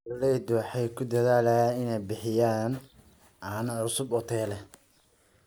Beeraleydu waxay ku dadaalaan inay bixiyaan caano cusub oo tayo leh.